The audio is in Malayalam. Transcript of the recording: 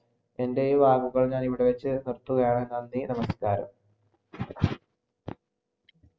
എൻ്റെ ഈ വാക്കുകൾ ഞാൻ ഇവിടെ വച്ചുനിർത്തുകയാണ്, നന്ദി നമസ്കാരം.